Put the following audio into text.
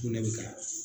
Sugunɛ bɛ ka